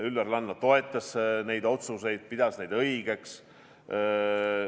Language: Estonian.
Üllar Lanno toetas neid otsuseid, ta pidas neid õigeks.